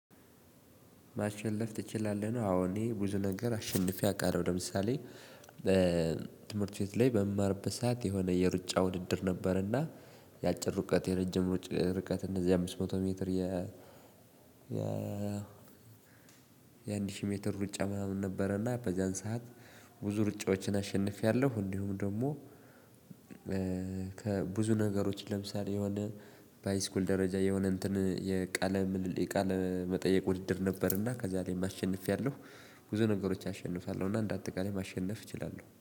ማሸነፍ ትችላለህ ነው አዎ እኔ ብዙ ነገር አሸንፌ አውቃለሁ ለምሳሌ በትምህርት ቤት ላይ በምማርበት ሰዓት የሆነ የሩጫ ውድድር ነበርና የአጭር ሩቀት የረጅም ርቀት እነዚህ አምስት መቶ ሜትር የ የአንድ ሺህ ሜትር ሩጫ ምናምን ነበረ እና በዚያን ሰዓት ብዙ ሩጫዎችን አሸንፌያለሁ። እንዲሁም ደግሞ ከብዙ ነገሮች ለምሳሌ የሆነ ባይስኩል ደረጃ የሆነ እንትን የቃለ ምልል የቃለ መጠየቅ ውድድር ነበርና ከዛ ላይም አሸንፊያለው። ብዙ ነገሮች አሸንፋለሁ እና አንዳጠቃላይ ማሸነፍ እችላለሁ